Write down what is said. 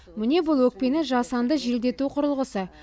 міне бұл өкпені жасанды желдету құрылғысы